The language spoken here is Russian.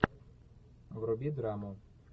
вруби драму